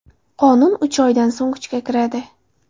Qonun uch oydan so‘ng kuchga kiradi.